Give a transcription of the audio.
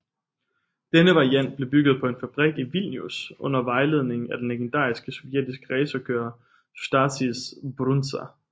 Denne variant blev bygget på en fabrik i Vilnius under vejledning af den legendariske sovjetiske racerkører Stasys Brundza